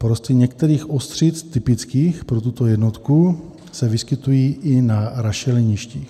Porosty některých ostřic typických pro tuto jednotku se vyskytují i na rašeliništích.